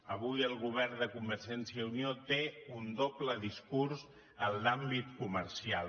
avui el govern de convergència i unió té un doble discurs en l’àmbit comercial